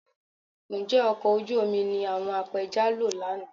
Ǹjẹ́ ọkọ̀ ojú omi ni àwọn apẹja lò lánàá?